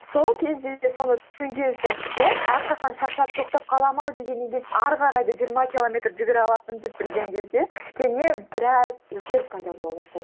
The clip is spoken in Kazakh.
сол кезде де соны түсінген сәтте әрқашан шаршап тоқтап қаламын ау дегеннен кейін ары қарай да жиырма километр жүгіре алатыныңды білген кезде кішкене біраз өзгеріс пайда бола бастайды